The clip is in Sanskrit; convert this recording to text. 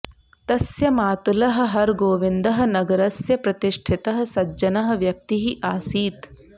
तस्य मातुलः हरगोविन्दः नगरस्य प्रतिष्ठितः सज्जनः व्यक्तिः आसीत्